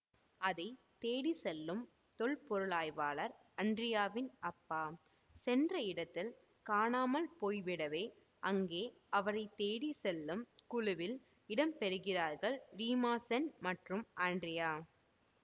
அதை தேடி செல்லும் தொல்பொருளாய்வாளர் அன்ரியாவின் அப்பா சென்ற இடத்தில் காணாமல் போய்விடவே அங்கே அவரை தேடி செல்லும் குழுவில் இடம்பெறுகிறார்கள் ரீமாசென் மற்றும் அன்ரியா